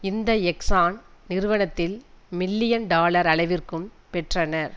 இந்த எக்ஸான் நிறுவனத்தில் million dollar அளவிற்கும் பெற்றனர்